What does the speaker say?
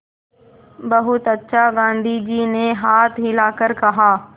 बहुत अच्छा गाँधी जी ने हाथ हिलाकर कहा